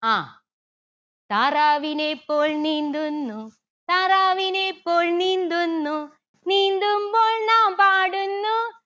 ആഹ് താറാവിനെ പോൽ നീന്തുന്നു താറാവിനെ പോൽ നീന്തുന്നു നീന്തുമ്പോൾ നാം പാടുന്നു